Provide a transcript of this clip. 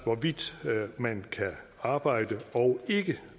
hvorvidt man kan arbejde og ikke